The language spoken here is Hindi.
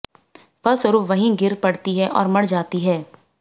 फलस्वरूप वही गिर पड़ती है और मर जाती है